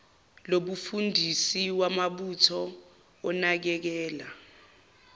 lobufundisi wamabutho onakekela